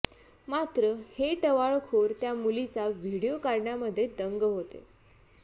मात्र हे टवाळखोर त्या मुलीचा व्हीडीओ काढण्यामध्ये दंग होते